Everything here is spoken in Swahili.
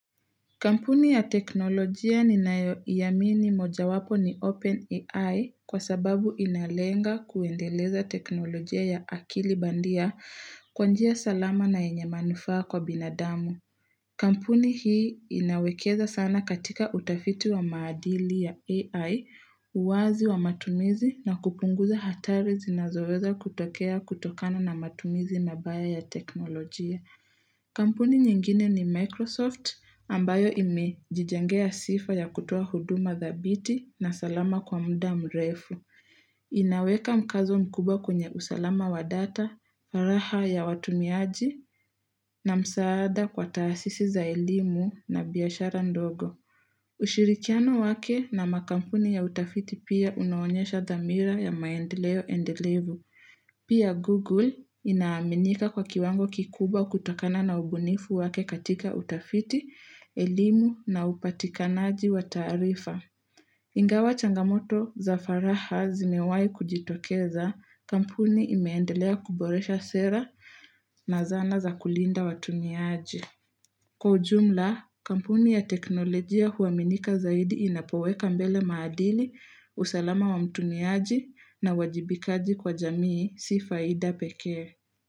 Kampuni ya teknolojia ni nayo iamini moja wapo ni OpenAI kwa sababu inalenga kuendeleza teknolojia ya akili bandia kwanjia salama na yenye manufaa kwa binadamu. Kampuni hii inawekeza sana katika utafiti wa maadili ya AI, uwazi wa matumizi na kupunguza hatari zinazoweza kutokea kutokana na matumizi mabaya ya teknolojia. Kampuni nyingine ni Microsoft ambayo ime jijengea sifa ya kutoa huduma thabiti na salama kwa muda mrefu. Inaweka mkazo mkubwa kwenye usalama wa data, faraha ya watumiaji na msaada kwa taasisi za elimu na biashara ndogo. Ushirikiano wake na makampuni ya utafiti pia unaonyesha thamira ya maendeleo endelevu. Pia Google inaaminika kwa kiwango kikubwa kutokana na ubunifu wake katika utafiti, elimu na upatikanaji wa taarifa. Ingawa changamoto za faraha zimewai kujitokeza kampuni imeendelea kuboresha sera na zana za kulinda watumiaji. Kwa ujumla, kampuni ya teknolojia huwaminika zaidi inapoweka mbele maadili, usalama wa mtumiaji na uwajibikaji kwa jamii si faida pekee.